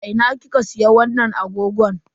A ina kika siya wannan agogon?